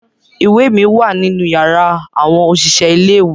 Iwe mi wa ninu yara awọn oṣiṣẹ ile-iwe